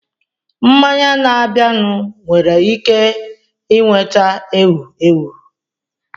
Mmanya na-abịanụ nwere ike nweta ewu ewu.